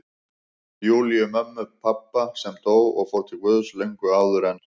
Júlíu, mömmu pabba, sem dó og fór til Guðs löngu áður en